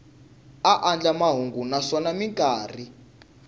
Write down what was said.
a andlala mahungu naswona mikarhi